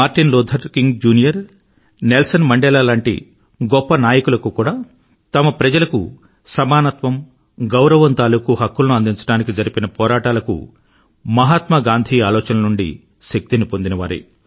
Martin Luther King Junior Nelson Mandela లాంటి గొప్ప నాయకులు కూడా తమ ప్రజలకు సమానత్వం గౌరవం తాలూకూ హక్కులను అందించడానికి జరిపిన పోరాటాలకు మహాత్మా గాంధీ ఆలోచనల నుండి శక్తిని పొందినవారే